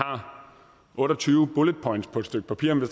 otte og tyve bulletpoints på et stykke papir men